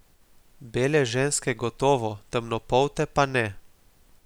Bele ženske gotovo, temnopolte pa ne.